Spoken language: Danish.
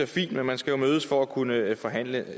fint men man skal jo mødes for at kunne forhandle